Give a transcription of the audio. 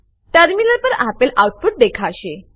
terminal પર આપેલ output દેખાશે